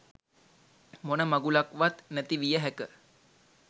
මොන මගුලක්වත් නැති විය හැක.